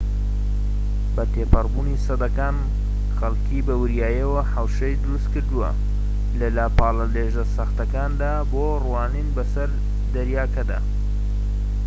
بە تێپەڕبوونی سەدەکان خەڵکیی بە وریاییەوە حەوشەی دروستکردووە لە لاپاڵە لێژە سەختەکاندا بۆ ڕوانین بەسەر دەریاکەدا